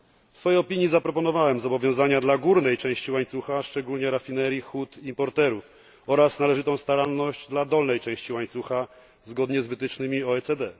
W swojej opinii zaproponowałem zobowiązania dla górnej części łańcucha, szczególnie rafinerii, hut i importerów oraz należytą staranność dla dolnej części łańcucha zgodnie z wytycznymi OECD.